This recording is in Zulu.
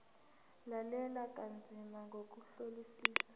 lalela kanzima ngokuhlolisisa